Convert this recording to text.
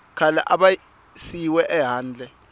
khale a va siyiwe ehandle